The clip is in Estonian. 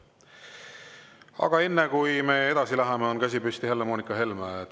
Aga enne kui me edasi läheme, on käsi püsti Helle-Moonika Helmel.